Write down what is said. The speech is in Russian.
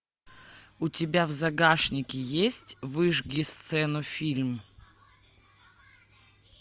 у тебя в загашнике есть выжги сцену фильм